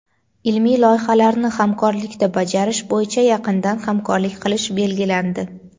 ilmiy loyihalarni hamkorlikda bajarish bo‘yicha yaqindan hamkorlik qilish belgilandi.